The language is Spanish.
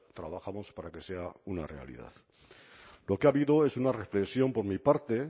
trabajamos para que sea una realidad lo que ha habido es una reflexión por mi parte